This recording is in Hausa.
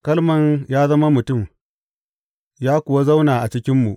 Kalman ya zama mutum, ya kuwa zauna a cikinmu.